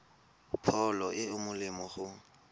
pholo e e molemo go